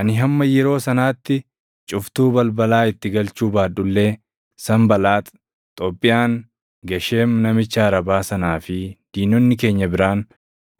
Ani hamma yeroo sanaatti cuftuu balbalaa itti galchuu baadhu illee Sanbalaax, Xoobbiyaan, Gesheem namicha Arabaa sanaa fi diinonni keenya biraan